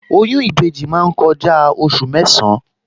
Oyún ìbejì máa ń kọjá oṣù mẹ́san-án